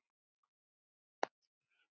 Birgir Freyr og Baldvin Helgi.